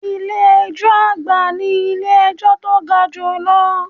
Ilé ẹjọ́ àgbà nílé ejọ́ tó ga jù lọ.